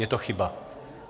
Je to chyba.